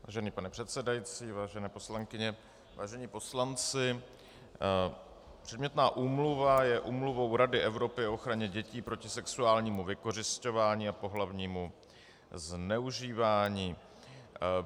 Vážený pane předsedající, vážené poslankyně, vážení poslanci, předmětná úmluva je úmluvou Rady Evropy o ochraně dětí proti sexuálnímu vykořisťování a pohlavnímu zneužívání.